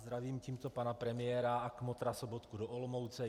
Zdravím tímto pana premiéra a kmotra Sobotku do Olomouce.